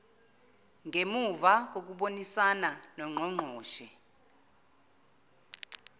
ngemuva kokubonisana nongqongqoshe